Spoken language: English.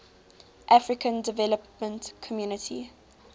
african development community